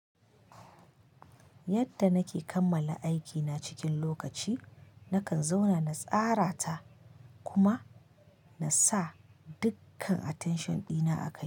Yadda nake kammala aikina cikin lokaci, nakan zauna na tsara ta kuma na sa dukkan attention dina a kai.